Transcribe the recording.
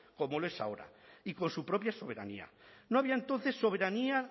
como lo es ahora y con su propia soberanía no había entonces soberanía